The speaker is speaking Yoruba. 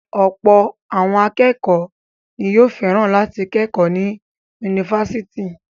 Ọ̀pọ̀ àwọn akẹ́kọ̀ọ́ ni yóò fẹ́ràn láti kẹ́kọ̀ọ́ ní yunifásítì.